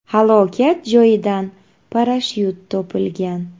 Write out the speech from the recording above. Halokat joyidan parashyut topilgan.